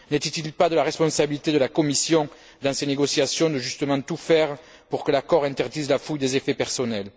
N'était il pas de la responsabilité de la Commission, dans ces négociations, de justement tout faire pour que l'accord interdise la fouille des effets personnels?